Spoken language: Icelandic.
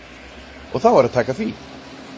Og þá er að taka því.